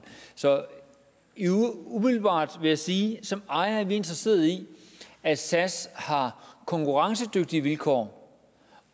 så umiddelbart vil jeg sige at vi som ejer er interesseret i at sas har konkurrencedygtige vilkår